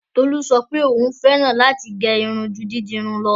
Tolú sọ pé òún fẹ́ràn láti gẹ́ irun ju dídirun lọ.